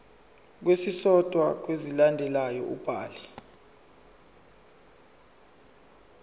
esisodwa kwezilandelayo ubhale